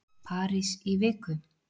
París í viku?